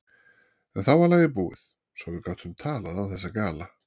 En þá var lagið búið, svo að við gátum talað án þess að gala.